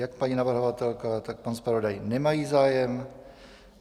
Jak paní navrhovatelka, tak pan zpravodaj nemají zájem.